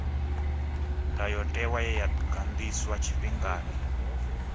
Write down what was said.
ndayotewa ye ya ganḓiswa tshifhingani